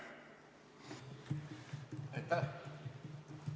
Aitäh!